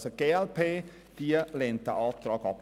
Die glp lehnt den Antrag ab.